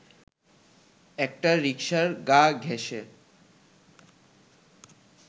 একটা রিকশার গা ঘেঁষে